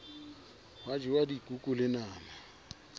hwa jewa dikuku le nama